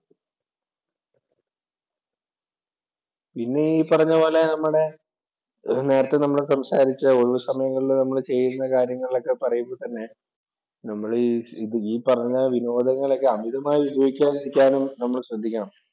പിന്നെ ഈ പറഞ്ഞ പോലെ നമ്മടെ നേരത്തെ നമ്മൾ സംസാരിച്ച ഒഴിവ് സമയങ്ങളിൽ നമ്മള് ചെയ്യുന്ന കാര്യങ്ങളൊക്കെ പറയുമ്പോൾ തന്നെ ഈ പറഞ്ഞ വിനോദങ്ങളൊക്കെ അമിതമായി ഉപയോഗിക്കാതിരിക്കാനും നമ്മൾ ശ്രദ്ധിക്കണം.